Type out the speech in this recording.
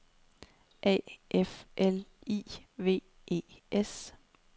A F L I V E S